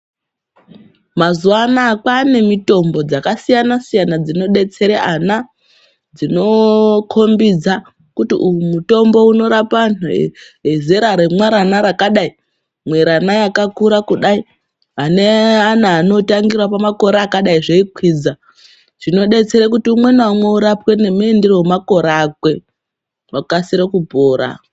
Mazuva ano aya kwava nemitombo dzakasiyana siyana dzinodetsere ana, dzinokombidza kuti uyu mutombo unorapa vantu vezera remwarana rakadai, mwerana yakakura kudai ane ana anotangira pamakore akadai zveikwidza zvinodetsera kuti umwe noumwe urapwe nemuindire wemakore akwe agokasire kupora.